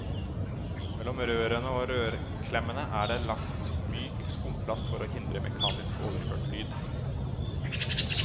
Mellom rørene og rørklemmene er det lagt myk skumplast for å hindre mekanisk overført lyd.